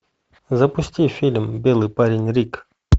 запусти фильм белый парень рик